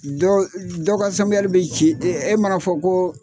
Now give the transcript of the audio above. Dɔ dɔ ka bɛ ci e mana fɔ ko